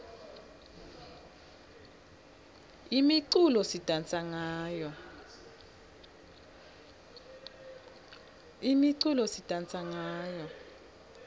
imiculo sidansa ngayo